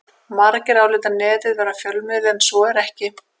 Margir álíta Netið vera fjölmiðil en svo er ekki.